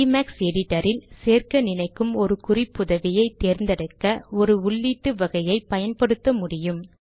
IMAX editor இல் சேர்க்க நினைக்கும் ஒரு குறிப்புதவியை தேர்ந்தெடுக்க ஒரு உள்ளீட்டு வகையை பயன்படுத்த முடியும்